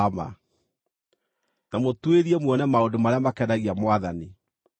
na mũtuĩrie muone maũndũ marĩa makenagia Mwathani.